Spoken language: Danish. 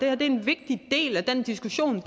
er en vigtig del af diskussionen